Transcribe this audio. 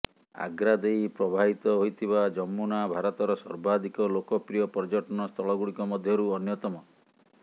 ଆଗ୍ରା ଦେଇ ପ୍ରବାହିତ ହୋଇଥିବା ଯମୁନା ଭାରତର ସର୍ବାଧିକ ଲୋକପ୍ରିୟ ପର୍ଯ୍ୟଟନ ସ୍ଥଳଗୁଡିକ ମଧ୍ୟରୁ ଅନ୍ୟତମ